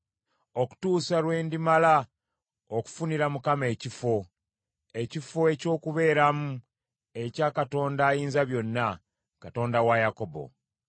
okutuusa lwe ndimala okufunira Mukama ekifo; ekifo eky’okubeeramu ekya Katonda Ayinzabyonna, Katonda wa Yakobo.”